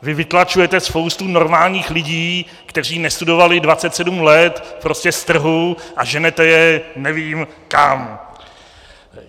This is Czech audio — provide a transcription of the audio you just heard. Vy vytlačujete spoustu normálních lidí, kteří nestudovali 27 let, prostě z trhu a ženete je, nevím kam.